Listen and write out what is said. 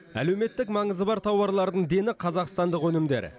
әлеуметтік маңызы бар тауарлардың дені қазақстандық өнімдер